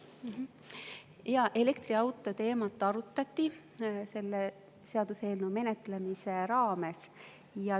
Jaa, elektriautoteemat arutati selle seaduseelnõu menetlemise raames.